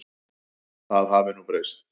Það hafi nú breyst.